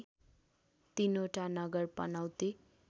तिनवटा नगर पनौती